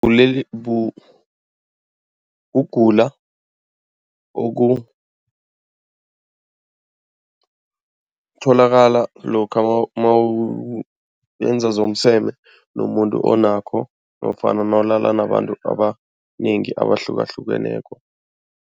kugula okutholakala lokha nawenza zomseme nomuntu onakho, nofana nawulala nabantu abanengi abahlukahlukeneko.